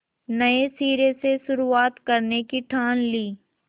नए सिरे से शुरुआत करने की ठान ली